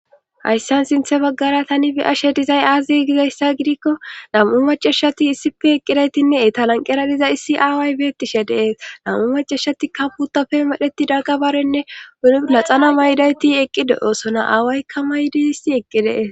hayssan sinthe baggara tani beyashe dizay aazi gizayssa gidikko nam7u maceshati issife eqqidaytinne etalanqeradiza issi aaway beettishe dees nam7u maceshatikka putafe madheti daggabarenne uni laxana maydayti eqqi de7oosonna aawaykka maydi issi eqqi dees